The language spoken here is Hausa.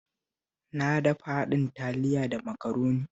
Na dafa haɗin Taliya da Makaroni